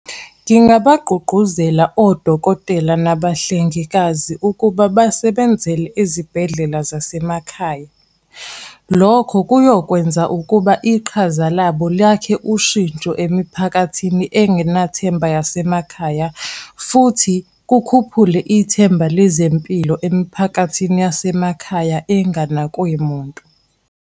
Ngingabagqugquzela odokotela nabahlengikazi ukuba basebenzele ezibhedlela zasemakhaya. Lokho kuyokwenza ukuba iqhaza labo lakhe ushintsho emiphakathini engenathemba yasemakhaya. Futhi kukhuphule ithemba lezempilo emiphakathini yasemakhaya enganakwe muntu.